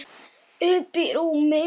Uppí rúmi.